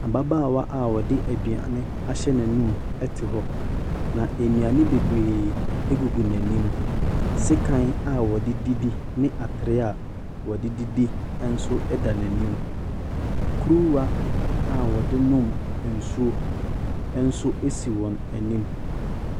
Ababaawa a ɔde aduane ahyɛ n'anum te hɔ, na nnuane bebree gugu n'anim. Sekan a wɔde didi ne atere a wɔde didi nso da n'anim. Kuruwa a wɔde no nsuo nso si wɔn anim.